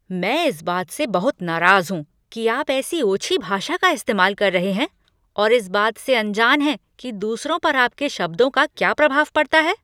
मैं इस बात से बहुत नाराज हूँ कि आप ऐसी ओछी भाषा का इस्तेमाल कर रहे हैं और इस बात से अनजान हैं कि दूसरों पर आपके शब्दों का क्या प्रभाव पड़ता है।